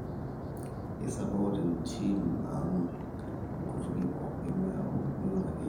keisupport entim ang nkutukie pooki neeku miure akeyie